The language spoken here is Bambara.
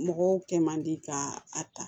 Mɔgɔw kɛ man di ka a ta